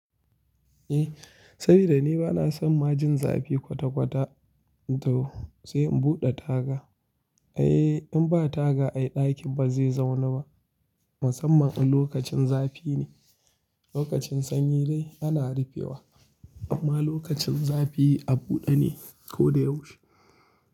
Eh, saboda ni bana son ma jin zafi kwata-kwata to sai in buɗe taga. Eh in ba taga ai ɗakin ba zai zauna ba, musamman lokacin zafi ne. Lokacin sanyi dai ana rufewa amma lokacin zafi a buɗe ne ko da yaushe.